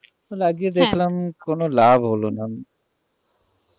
লাগিয়ে দেখলাম হ্যাঁ কোনো লাভ হলোনা